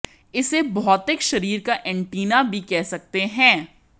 इसे भौतिक शरीर का एंटीना भी कह सकते हैं